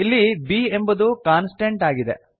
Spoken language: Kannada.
ಇಲ್ಲಿ b ಎಂಬುದು ಕಾಂನ್ಸ್ಟಂಟ್ ಆಗಿದೆ